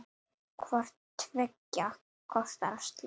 Hvort tveggja kostar slag.